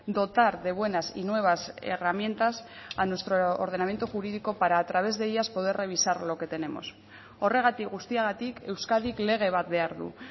dotar de buenas y nuevas herramientas a nuestro ordenamiento jurídico para a través de ellas poder revisar lo que tenemos horregatik guztiagatik euskadik lege bat behar du